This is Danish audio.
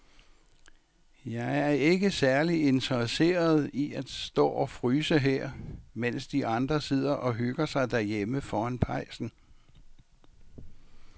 Jeg er ikke særlig interesseret i at stå og fryse her, mens de andre sidder og hygger sig derhjemme foran pejsen.